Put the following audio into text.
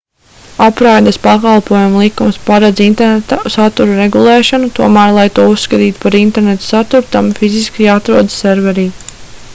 apraides pakalpojumu likums paredz interneta satura regulēšanu tomēr lai to uzskatītu par interneta saturu tam fiziski jāatrodas serverī